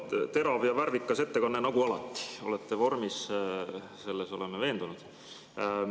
No terav ja värvikas ettekanne nagu alati, olete vormis, selles oleme veendunud.